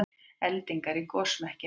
Eldingar í gosmekkinum